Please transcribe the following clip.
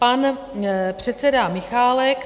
Pan předseda Michálek.